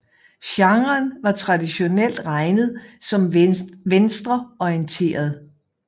Genren var traditionelt regnet som venstreorienteret